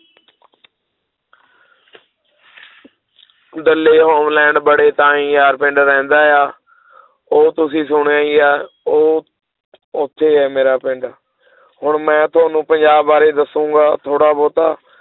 Holland ਬੜੇ ਤਾਈਂ ਪਿੰਡ ਰਹਿੰਦਾ ਆ ਉਹ ਤੁਸੀਂ ਸੁਣਿਆ ਹੀ ਹੈ ਉਹ ਉੱਥੇ ਹੈ ਮੇਰਾ ਪਿੰਡ ਹੁਣ ਮੈਂ ਤੁਹਾਨੂੰ ਪੰਜਾਬ ਬਾਰੇ ਦੱਸਾਂਗਾ ਥੋੜ੍ਹਾ ਬਹੁਤਾ